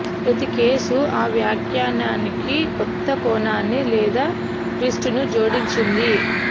ప్రతి కేసు ఆ వ్యాఖ్యానానికి కొత్త కోణాన్ని లేదా ట్విస్ట్ను జోడించింది